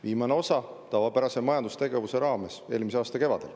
Viimane osa tavapärase majandustegevuse raames eelmise aasta kevadel.